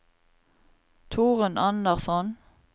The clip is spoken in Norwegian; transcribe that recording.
Torunn Andersson